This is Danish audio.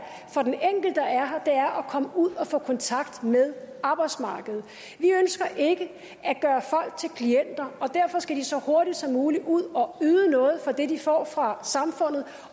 her er at komme ud og få kontakt med arbejdsmarkedet vi ønsker ikke at gøre folk til klienter og derfor skal de så hurtigt som muligt ud og yde noget for det de får fra samfundet